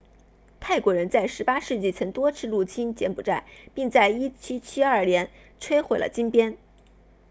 泰国人在18世纪曾多次入侵柬埔寨并在1772年摧毁了金边